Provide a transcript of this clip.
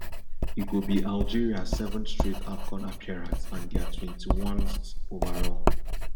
e go be algeria seventh straight afcon appearance and dia twenty-onest overall